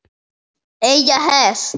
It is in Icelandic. Eiga hest.